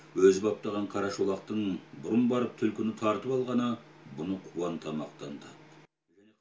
өзі баптаған қара шолақтың бұрын барып түлкіні тартып алғаны бұны қуанта мақтанды